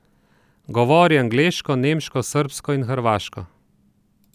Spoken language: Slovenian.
Govori angleško, nemško, srbsko in hrvaško.